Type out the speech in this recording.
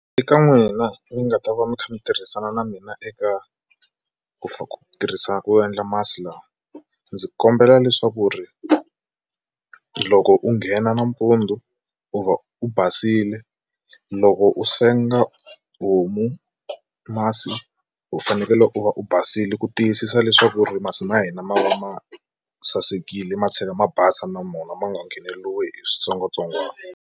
Eka n'wina mi nga ta va mi kha mi tirhisana na mina eka ku ku tirhisa ku endla masi lawa ndzi kombela leswaku ri loko u nghena nampundzu u va u basile loko u senga homu masi u fanekele u va u basile ku tiyisisa leswaku ri masi ma hina ma va ma sasekile ma tlhela ma basa na mona ma nga ngheneriwi hi switsongwatsongwana.